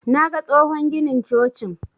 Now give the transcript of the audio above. Naga tsohon ginin cocin.